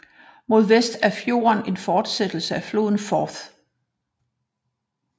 Mod vest er fjorden en fortsættelse af floden Forth